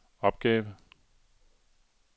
opgave